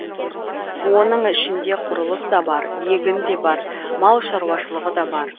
оның ішінде құрылыс та бар егін де бар мал шаруашылығы да бар